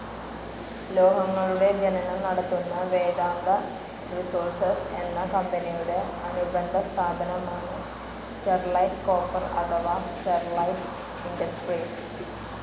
ലോഹങ്ങളുടെ ഖനനം നടത്തുന്ന വേദാന്ത റിസോഴ്സ്‌ എന്ന കമ്പനിയുടെ അനുബന്ധ സ്ഥാപനമാണ് സ്റ്റെർലൈറ്റ് കോപ്പർ അഥവാ സ്റ്റെർലൈറ്റ് ഇൻഡസ്ട്രീസ്.